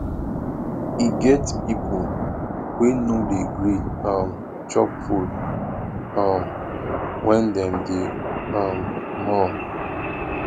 e get pipu wey no dey gree um chop food um wen dem dey um mourn